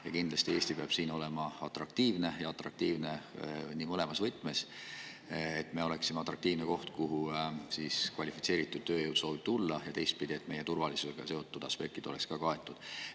Ja kindlasti Eesti peab siin olema atraktiivne, ja atraktiivne mõlemas võtmes: et me oleksime atraktiivne koht, kuhu kvalifitseeritud tööjõud soovib tulla, ja teistpidi, et meie turvalisusega seotud aspektid oleksid kaetud.